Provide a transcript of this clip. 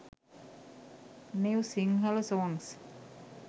new sinhala songs